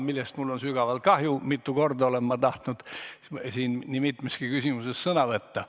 Sellest on mul sügavalt kahju ja mitu korda olen tahtnud siin nii mitmeski küsimuses sõna võtta.